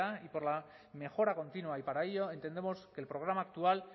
y por la mejora continua y para ello entendemos que el programa actual